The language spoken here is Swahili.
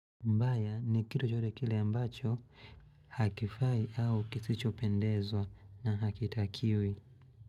Mbaya ni kitu chochote kile ambacho hakifai au kisichopendezwa na hakitakiwi.